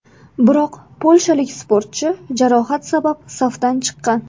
Biroq polshalik sportchi jarohat sabab safdan chiqqan.